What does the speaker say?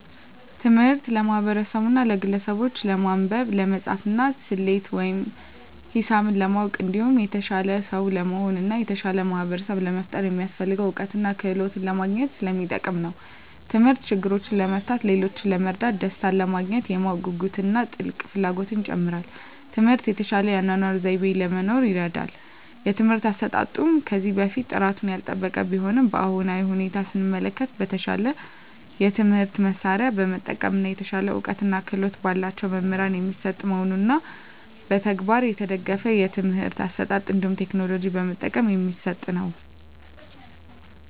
ትምህርት ለማህበርሰቡና ለግለሰቡች ለማንበብ፣ ለመፃፍና፣ ሰሌት ወይም ሂሳብ ለማወቅ እንዲሁም የተሻለ ሰው ለመሆን እና የተሻለ ማህበርሰብ ለመፍጠር የሚያሰፍልገውን እውቀትና ክህሎት ለማግኝት ሰለሚጠቅም ነው። ተምህርት ችግሮችን ለመፍታት፣ ሌሎችን ለመርዳት፣ ደሰታንለማግኘት፣ የማወቅ ጉጉትን እና ጥልቅ ፍላጎትን ይጨምራል። ትምህርት የተሻለ የአኗኗር ዘይቤ ለመኖር ይርዳል። የትምህርት አሰጣጡም ከዚህ በፊት ጥራቱን ያልጠበቀ ቢሆንም በአሁናዊ ሁኔታ ሰመለከት በተሻለ የትምህርት መሳርያ በመጠቀም እና የተሻለ እውቀትና ክህሎት በላቸው መምህራን የሚሰጥ መሆኑንና በተግባር የተደገፍ የትምህርት አሰጣጥ እንዲሁም ቴክኖሎጂ በመጠቀም የሚሰጥ ነው።